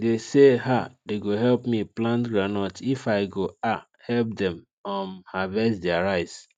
they say um they go help me plant groundnut if i go um help them um harvest their rice